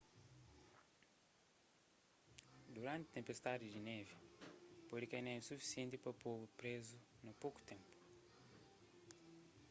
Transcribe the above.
duranti tenpestadi di névi pode kai névi sufisienti pa po-bu prézu na poku ténpu